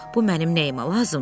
Bu mənim nəyimə lazımdır?